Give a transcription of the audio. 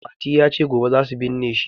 Mati ya ce "gobe za su binne shi".